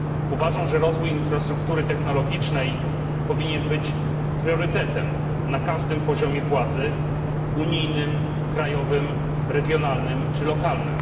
Uważam, że rozwój infrastruktury technologicznej powinien być priorytetem na każdym poziomie władzy, unijnym, krajowym, regionalnym czy lokalnym.